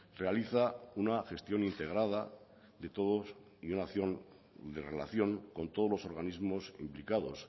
realiza una gestión integrada de todos y una acción de relación con todos los organismos implicados